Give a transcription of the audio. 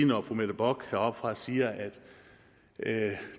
når fru mette bock heroppefra siger at